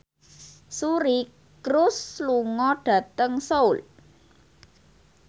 Suri Cruise lunga dhateng Seoul